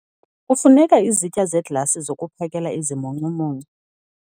Kufuneka izitya zeglasi zokuphakela izimuncumuncu.